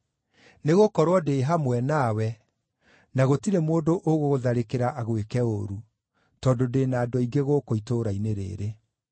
Nĩgũkorwo ndĩ hamwe nawe, na gũtirĩ mũndũ ũgũgũtharĩkĩra agwĩke ũũru, tondũ ndĩ na andũ aingĩ gũkũ itũũra-inĩ rĩĩrĩ.”